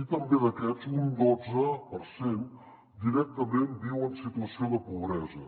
i també d’aquests un dotze per cent directament viu en situació de pobresa